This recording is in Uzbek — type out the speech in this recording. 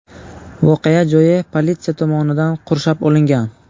Voqea joyi politsiya tomonidan qurshab olingan.